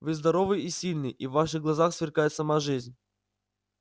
вы здоровый и сильный и в ваших глазах сверкает сама жизнь